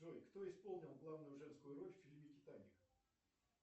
джой кто исполнил главную женскую роль в фильме титаник